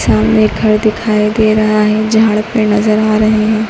सामने घर दिखाई दे रहा है झाड़ पेड़ नजर आ रहे हैं।